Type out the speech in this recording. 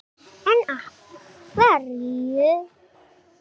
En af hverju geturðu samt verið nokkurn veginn viss í þessu tilviki?